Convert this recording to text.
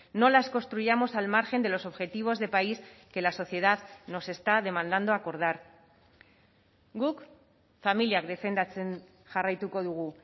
no las construyamos al margen de los objetivos de país que la sociedad nos está demandando acordar guk familiak defendatzen jarraituko dugu